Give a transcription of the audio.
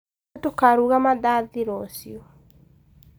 Nĩtũkaruga mandathi rũciũ